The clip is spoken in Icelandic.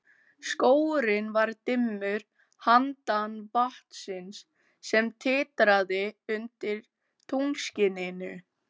Skógurinn var dimmur handan vatnsins, sem titraði undir tunglskininu.